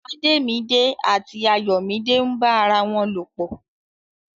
Ademide àti Ayomide n bá ará wọn lo pọ.